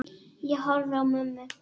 Ég horfi á mömmu.